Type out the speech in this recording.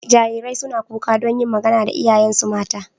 Jarirai suna kuka don yin magana da iyayensu mata.